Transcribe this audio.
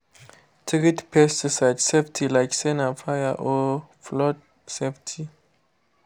treat pesticide safety like say na fire or flood safety.